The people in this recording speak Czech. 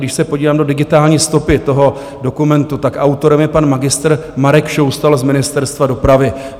Když se podívám do digitální stopy toho dokumentu, tak autorem je pan magistr Marek Šoustal z Ministerstva dopravy.